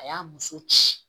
A y'a muso ci